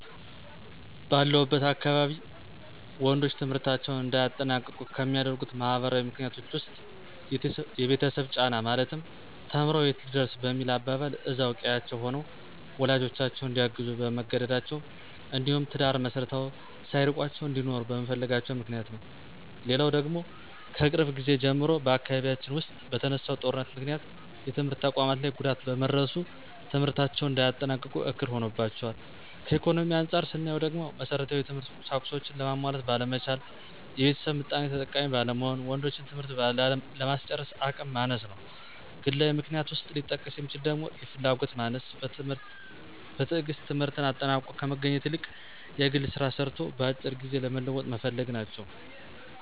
ባለሁበት አካባቢ ወንዶች ትምህርታቸውን እንዳያጠናቅቁ ከሚያደርጉት ማህበራዊ ምክንያቶች ዉስጥ፦ የቤተሰብ ጫና ማለትም ተምሮ የት ሊደርስ በሚል አባባል እዛው ቀዬአቸው ሆነው ወላጆቻቸውን እንዲያግዙ በመገደዳቸው እንዲሁም ትዳር መስርተው ሳይርቋቸው እንዲኖሩ በመፈለጋቸው ምክንያት ነው። ሌላው ደግሞ ከቅርብ ጊዜ ጀምሮ በአካባቢያችን ዉስጥ በተነሳው ጦርነት ምክንያት የትምህርት ተቋማት ላይ ጉዳት በመድረሱ ትምህርታቸውን እንዳያጠናቅቁ እክል ሆኖባቸዋል። ከኢኮኖሚ አንፃር ስናየው ደግሞ መሠረታዊ የትምህርት ቁሳቁሶችን ለማሟላት ባለመቻል፣ የቤተሰብ ምጣኔ ተጠቃሚ ባለመሆን ወንዶችን ትምህርት ለማስጨረስ አቅም ማነስ ነው። ግላዊ ምክንያት ውስጥ ሊጠቀስ የሚችለው ደግሞ የፍላጎት ማነስ፣ በትግስት ትምህርትን አጠናቆ ከመገኘት ይልቅ የግል ስራ ሰርቶ በአጭር ጊዜ ለመለወጥ መፈለግ ናቸው።